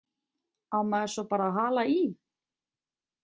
Á maður svo bara að hala í?